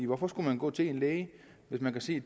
hvorfor skulle man gå til en læge hvis man kan se